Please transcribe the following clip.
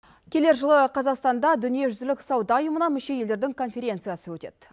келер жылы қазақстанда дүниежүзілік сауда ұйымына мүше елдердің конференциясы өтеді